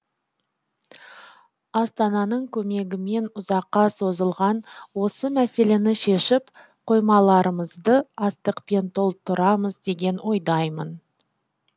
астананың көмегімен ұзаққа созылған осы мәселені шешіп қоймаларымызды астықпен толтырамыз деген ойдаймын